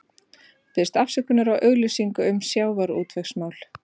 Biðst afsökunar á auglýsingu um sjávarútvegsmál